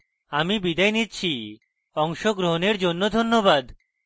I I T Bombay থেকে আমি বিদায় নিচ্ছি অংশগ্রহণের জন্য ধন্যবাদ